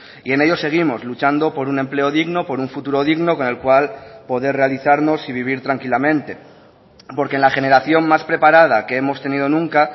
y en ello seguimos luchando por un empleo digno por un futuro digno con el cual poder realizarnos y vivir tranquilamente porque la generación más preparada que hemos tenido nunca